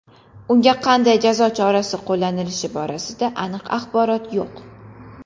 Unga qanday jazo chorasi qo‘llanilishi borasida aniq axborot yo‘q.